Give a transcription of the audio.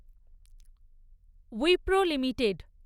Wipro limited